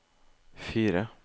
fire